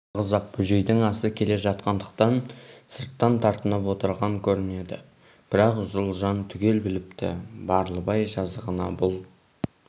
жалғыз-ақ бөжейдің асы келе жатқандықтан сырттан тартынып отырған көрінеді бірақ ұлжан түгел біліпті барлыбай жазығына бұл